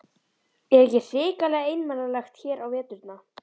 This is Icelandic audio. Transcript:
Er ekki hrikalega einmanalegt hér á veturna?